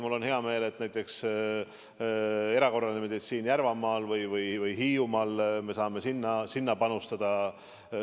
Mul on hea meel, et me saame näiteks erakorralise meditsiini heaks Järvamaal või Hiiumaal panustada.